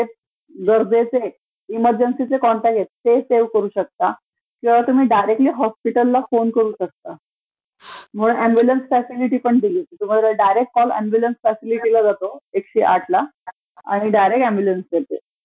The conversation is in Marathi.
गरजेचे इमर्जन्सिचे कॉन्टॅक्ट आहेत ते सेव्ह करू शकता. डायरेक्टली हॉस्पिटलला फोन करू शकता. प्लस ऍम्ब्यूलन्स फॅसिलिटी पण दिलिय तुमचा डायरेक्ट कॉल ऍम्ब्यूलन्स फॅसिलिटीला जातो एकशे आठला आणि डायरेक्ट ऍम्ब्यूलन्स येते.